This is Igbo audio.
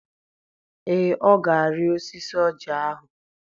Ee, ọ ga-arị osisi ọjị ahụ.